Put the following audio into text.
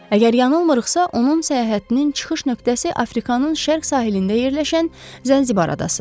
Əgər yanılmırıqsa, onun səyahətinin çıxış nöqtəsi Afrikanın şərq sahilində yerləşən Zənzibar adasıdır.